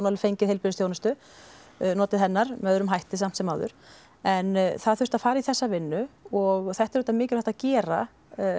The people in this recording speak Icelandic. alveg fengið heilbrigðisþjónustu notið hennar með öðrum hætti samt sem áður en það þurfti að fara í þessa vinnu og þetta er auðvitað mikilvægt að gera